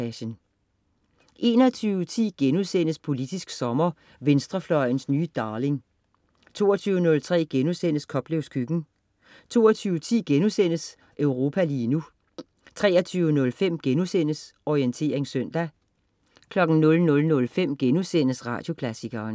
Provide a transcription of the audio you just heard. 21.10 Politisk sommer: Venstrefløjens nye darling* 22.03 Koplevs Køkken* 22.10 Europa lige nu* 23.05 Orientering søndag* 00.05 Radioklassikeren*